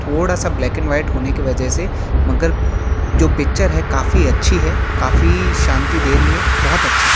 थोड़ा सा black and white होने की वजह से मगर जो पिक्चर है काफी अच्छी है। काफी शांति दे रही है। बहोत अच्छा है।